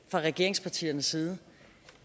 fra regeringspartiernes side